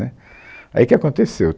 Né, Aí o que aconteceu?